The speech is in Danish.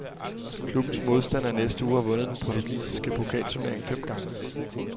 Klubbens modstander i næste uge har vundet den portugisiske pokalturnering fem gange.